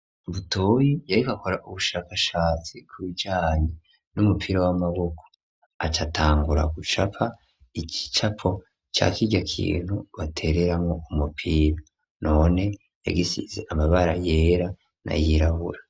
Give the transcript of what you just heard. Butoyi yariko akora ubushakashatsi ku bijanye n'umupira w'amaboko aca atangura gucapa igicapo ca kirya kintu batereramwo umupira, none yagisize amabara yera n'ayirabura.